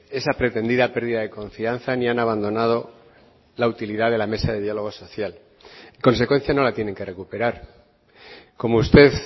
esa pretendida pérdida de confianza ni han abandonado la utilidad de la mesa de diálogo social en consecuencia no la tienen que recuperar como usted